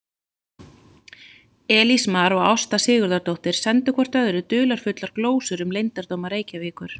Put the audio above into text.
Elías Mar og Ásta Sigurðardóttir sendu hvort öðru dularfullar glósur um leyndardóma Reykjavíkur.